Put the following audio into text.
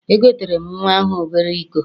Egoteere m nnwa ahụ obere iko.